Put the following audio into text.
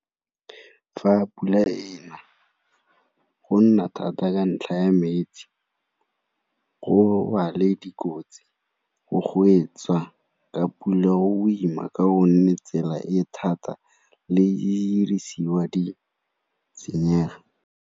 Fa pula e na, go nna thata ka ntlha ya metsi go ba le dikotsi, ka pula o ima ka o nne tsela e thata le e dirisiwa di senyega.